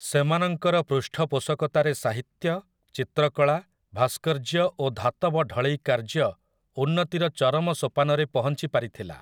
ସେମାନଙ୍କର ପୃଷ୍ଠପୋଷକତାରେ ସାହିତ୍ୟ, ଚିତ୍ରକଳା, ଭାସ୍କର୍ଯ୍ୟ ଓ ଧାତବ ଢଳେଇ କାର୍ଯ୍ୟ ଉନ୍ନତିର ଚରମ ସୋପାନରେ ପହଞ୍ଚିପାରିଥିଲା ।